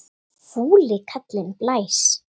Fúli kallinn blæs.